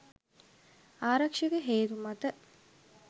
ආරක්‍ෂක හේතු මත